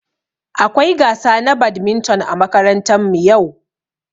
Akwai gasa na badminton ã makarantan mu yau.